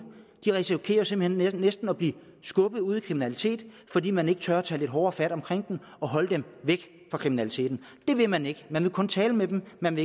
risikerer simpelt hen næsten at blive skubbet ud i kriminalitet fordi man ikke tør tage lidt hårdere fat omkring dem og holde dem væk fra kriminaliteten det vil man ikke man vil kun tale med dem man